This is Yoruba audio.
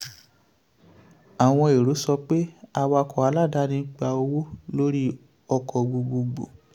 àwọn èrò sọ pé awakọ̀ aláàdáni ń gba owó lórí ọkọ̀ gbogbogbò.